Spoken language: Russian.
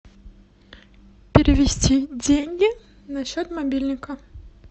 перевести деньги на счет мобильника